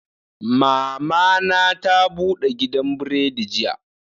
Mama na ta bude gidan buredi jiya